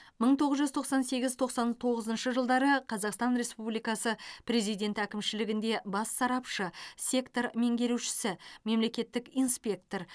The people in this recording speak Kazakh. мың тоғыз жүз тоқсан сегіз тоқсан тоғызыншы жылдары қазақстан республикасы президенті әкімшілігінде бас сарапшы сектор меңгерушісі мемлекеттік инспектор